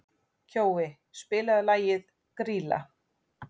Kjói, spilaðu lagið „Grýla“.